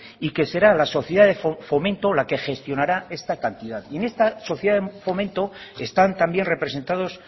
y que será la sociedad de fomento la que gestionará esta cantidad y en esta sociedad de fomento están también representados